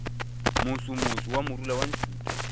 mosomoso wa morula wa ntšhutha